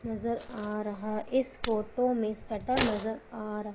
नजर आ रहा इस फोटो में शटर नजर आ र--